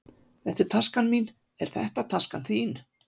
Þetta er taskan mín. Er þetta taskan þín?